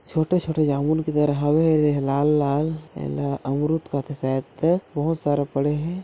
छोटे - छोटे जामुन दे ह लाल - लाल एला अमरूद कथे शायद तक बहुत सारा पड़े हे।